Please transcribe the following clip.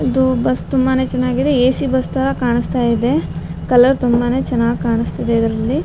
ಇದು ಬಸ್ ತುಂಬಾನೇ ಚೆನ್ನಾಗಿದೆ ಎ.ಸಿ ಬಸ್ ತರ ಕಾಣಿಸ್ತಾ ಇದೆ ಕಲರ್ ತುಂಬಾನೇ ಚೆನ್ನಾಗ್ ಕಾಣಿಸ್ತಾ ಇದೆ ಇದ್ರಲ್ಲಿ .